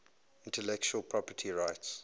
intellectual property rights